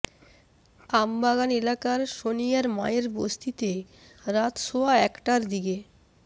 আমবাগান এলাকার সোনিয়ার মায়ের বস্তিতে রাত সোয়া একটার দিকে